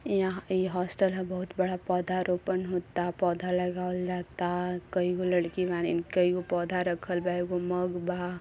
यहाँ इ हॉस्टल हबहुत बड़ा पौधा रोपण होता पौधा लगावल जाता कैगो लड़की बाड़ींन कैगो पोधा रखल बा एगो मग बा।